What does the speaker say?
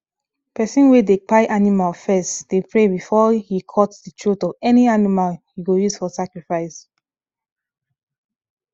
person wey dey kpai animal first dey pray before he cut the throat of any animal he go use for sacrifice